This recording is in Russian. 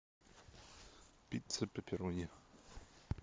пицца пепперони